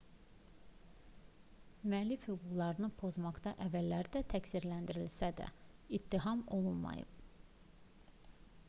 müəllif hüquqlarını pozmaqda əvvəllər də təqsirləndirilsə də ittiham olunmayıb